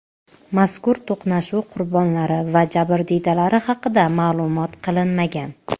Mazkur to‘qnashuv qurbonlari va jabrdiydalari haqida ma’lum qilinmagan.